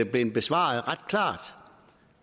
blevet besvaret ret klart